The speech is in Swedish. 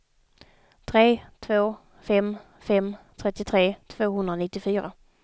tre två fem fem trettiotre tvåhundranittiofyra